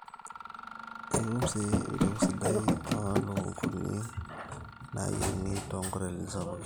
ekitum sii embeku sidai oo ilukunguni nayiengi too nkotelini sapukin